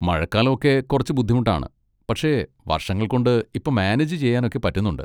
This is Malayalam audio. മഴക്കാലം ഒക്കെ കുറച്ച് ബുദ്ധിമുട്ടാണ്, പക്ഷെ വർഷങ്ങൾകൊണ്ട് ഇപ്പൊ മാനേജ് ചെയ്യാനൊക്കെ പറ്റുന്നുണ്ട്.